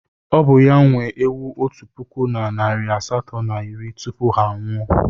Ọ bụ ya nwe ewu otu puku na narị asatọ na iri tupu ha anwụọ.